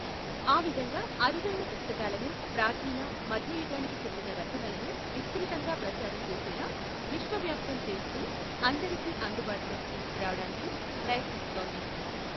ఆ విధంగా అరుదైన పుస్తకాలను, ప్రాచీన, మధ్య యుగానికి చెందిన రచనలను విస్తృతంగా ప్రచారం చేసేలా విశ్వవ్యాప్తం చేస్తూ అందరికీ అందుబాటులోకి తీసుకురావటానికి ప్రయత్నిస్తోంది.